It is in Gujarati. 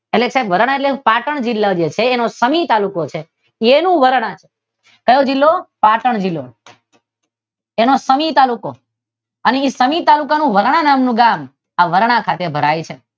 એટલે સાહેબ વરાણા એટલે પાટણ જિલ્લા નો સની તાલુકો છે તેનું વરાણા છે. ક્યો જિલ્લો? પાટણ જિલ્લો. તેનો શનિ તાલુકો અને તેનો શનિ તાલુકાનું વરાણા નામનું ગામ આ વરાણા ખાતે ભરાય છે.